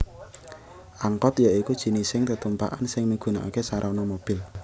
Angkot ya iku jinising tetumpakan sing migunakaké sarana mobil